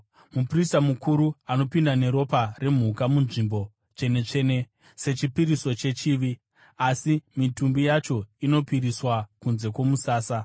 Muprista mukuru anopinda neropa remhuka muNzvimbo Tsvene-tsvene sechipiriso chechivi, asi mitumbi yacho inopisirwa kunze kwomusasa.